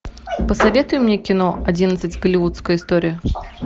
посоветуй мне кино одиннадцать голливудская история